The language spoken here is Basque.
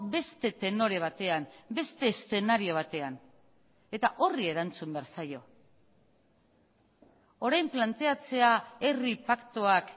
beste tenore batean beste eszenario batean eta horri erantzun behar zaio orain planteatzea herri paktuak